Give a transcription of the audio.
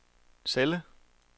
celle